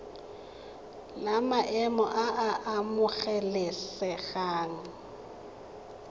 la maemo a a amogelesegang